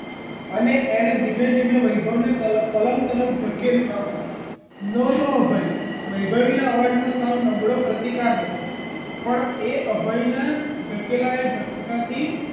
અને એણે ધીમે ધીમે વૈભવ ને તલ પલંગ તરફ ધકેલવા માંડી no no અભય વૈભવી ના અવાજમાં સાવ નબળો પ્રતિકાર હતો પણ એ અભયના ધકેલાય ધક્કાથી